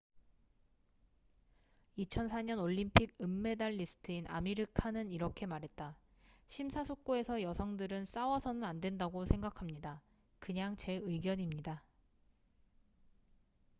"2004년 올림픽 은메달리스트인 아미르 칸은 이렇게 말했다 "심사숙고해서 여성들은 싸워서는 안된다고 생각합니다. 그냥 제 의견입니다.""